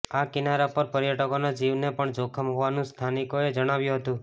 આ કિનારા પર પર્યટકોના જીવને પણ જોખમ હોવાનું સ્થાનિકોએ જણાવ્યું હતું